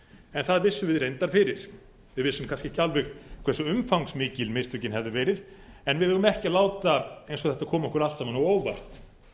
en það vissum við reyndar fyrir við vissum kannski ekki alveg hversu umfangsmikil mistökin hefðu verið en við eigum ekki að láta eins og þetta komi okkur allt saman á óvart